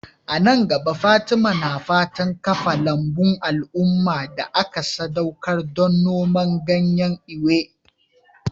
A nan gaba, Fatima na fatan kafa lambun al'umma da aka sadaukar don noman ganyen Ewe.